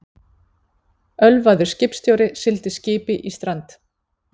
Ölvaður skipstjóri sigldi skipi í strand